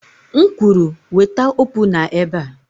M kwuru, weta opuna ebe a!